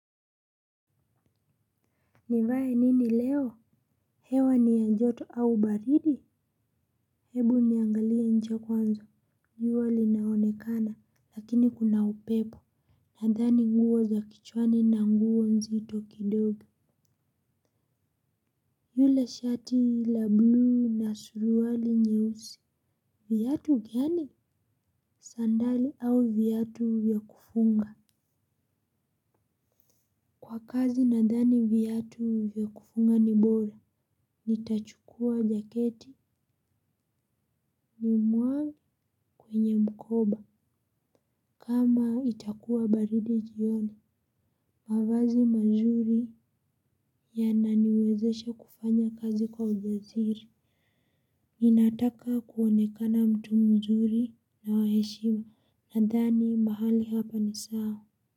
Nivae nini leo? Hewa ni ya joto au baridi? Hebu niangalia nje kwanza. Jua lina onekana, lakini kuna upepo. Nadhani nguo za kichwani na nguo nzito kidogo. Yule shati la bluu na suruwali nyeusi. Viatu gani? Sandali au viatu vya kufunga? Kwa kazi nadhani viatu vya kufunga ni bora. Nitachukua jaketi ni mwangi kwenye mkoba. Kama itakuwa baridi jioni, mavazi mazuri yananiwezesha kufanya kazi kwa ujasiri. Ninataka kuonekana mtu mzuri na wa heshima, nadhani mahali hapa ni sawa.